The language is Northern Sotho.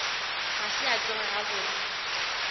ga se a tsoga gabotse